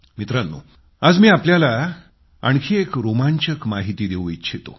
मित्रांनो आज मी आपल्याला आणखी एक रोमांचक माहिती देवू इच्छितो